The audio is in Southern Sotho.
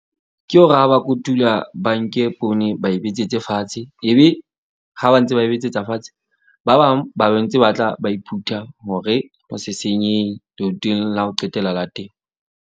Ke hore ha ba kotula ba nke poone, ba e betsetse fatshe. Ebe ha ba ntse ba e betsetsa fatshe, ba bang ba ba ntse ba tla ba iphutha hore ho se senyehe la ho qetela la temo.